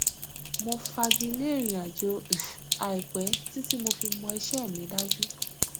mo fagilé ìrìnàjò um àìpẹ títí mo fi mọ iṣẹ mi dájú